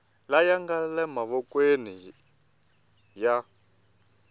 laya nga le mavokweni ya